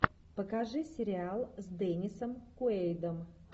покажи сериал с деннисом куэйдом